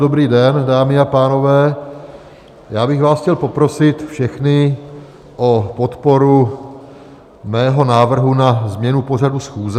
Dobrý den, dámy a pánové, já bych vás chtěl poprosit všechny o podporu mého návrhu na změnu pořadu schůze.